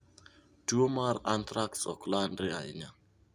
Tuo mar anthrax ok landre ahinya.